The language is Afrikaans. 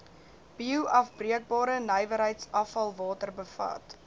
bioafbreekbare nywerheidsafvalwater bevat